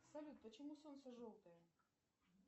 салют почему солнце желтое